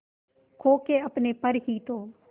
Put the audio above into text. खो के अपने पर ही तो